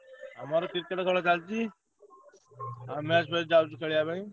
ଆମର Cricket ଖେଳ ଚାଲଚି, ଆଉ match ଫ୍ଯାଚ୍ ଯାଉଚୁ ଖେଳିଆ ପାଇଁ।